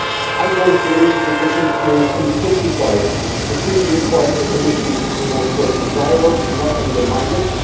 I do not believe that this interference can be justified. The Treaty requires the Commission to promote social dialogue, not undermine it.